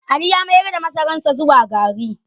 Ali ya mayar da masararsa zuwa gari